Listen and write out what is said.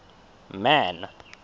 man